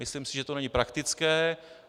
Myslím si, že to není praktické.